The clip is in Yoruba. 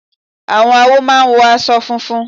Àwọn awo máa ń wọ aṣọ funfun.